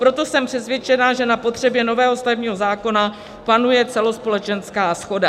Proto jsem přesvědčena, že na potřebě nového stavebního zákona panuje celospolečenská shoda.